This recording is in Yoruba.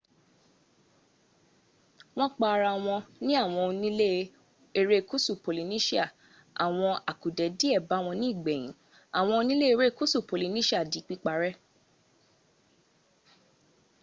wọn pẹ ara wọn ní àwọn ónilé ẹrẹ́kúsú polynesia àwọn àkùdẹ́ díè bàwọn ní ìgbẹ̀yìn àwọn ónilé ẹrẹ́kúsú polynesia di píparẹ́